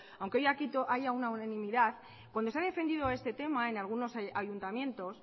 aunque hoy aquí haya una unanimidad cuando se ha defendido este tema en algunos ayuntamientos